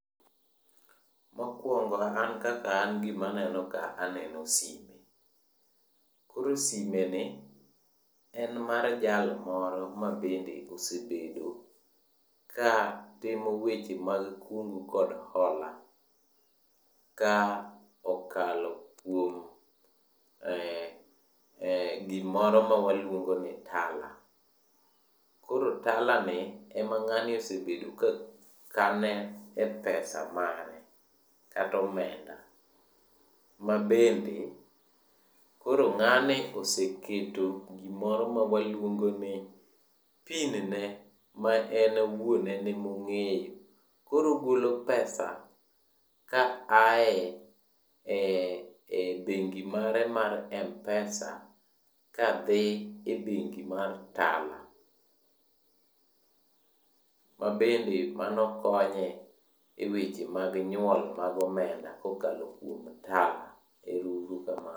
Mokwongo an kaka an gima aneno ka aneno sime. Koro sime ni, en mar jal moro mabende osebedo ka timo weche mag kungu kod hola, ka okalo kuom, eh, gimoro mawaluongo ni Tala. Koro Tala ni ema ng'ani osebedo ka kane e pesa mare katomenda. Ma bende, koro ng'ani oseketo gimoro mawaluongo ni PIN ne, maen owuon en emong'eyo. Koro ogolo pesa ka aye e bengi mare mar M-pesa kadhi e bengi mar Tala. Ma bende mano konye e weche mag nyuol mag omenda kokalo kuom Tala. Ero uru kamano.